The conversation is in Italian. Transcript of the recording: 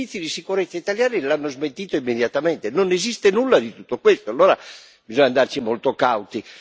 I servizi di sicurezza italiani l'hanno smentito immediatamente, non esiste nulla di tutto questo, allora bisogna andarci molto cauti.